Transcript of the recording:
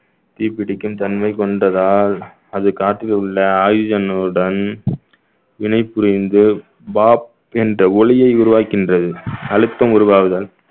தீப்பிடிக்கும் தன்மை கொண்டதால் அது காற்றில் உள்ள ஆயுதங்களுடன் இணை புரிந்து பாப் என்ற ஒலியை உருவாக்குகின்றது அழுத்தம் உருவாகுதல்